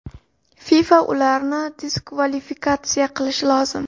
FIFA ularni diskvalifikatsiya qilishi lozim.